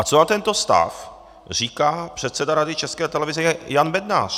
A co na tento stav říká předseda Rady České televize Jan Bednář?